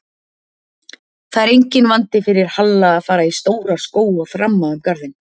Það er enginn vandi fyrir Halla að fara í stóra skó og þramma um garðinn